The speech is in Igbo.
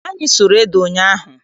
Anyị sụrụ ede ụnyaahụ.